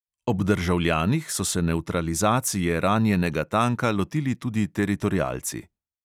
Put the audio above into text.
Ob državljanih so se nevtralizacije ranjenega tanka lotili tudi teritorialci.